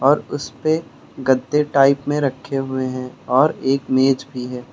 और उसपे गद्दे टाइप में रखे हुए हैं और एक मेज भी है।